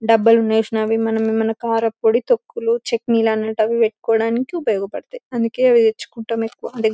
మనం మన కారంపొడి తొక్కులు చెట్నీలు అన్నటవి పెట్టుకోడాని ఉపయోగపడుతాయి అందుకే అవి తెచ్చుకొంటాము ఎక్కువ.